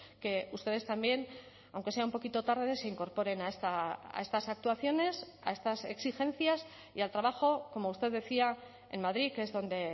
que ustedes también aunque sea un poquito tarde se incorporen a estas actuaciones a estas exigencias y al trabajo como usted decía en madrid que es donde